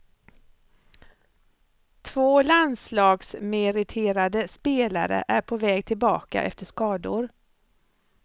Två landslagsmeriterade spelare är på väg tillbaka efter skador.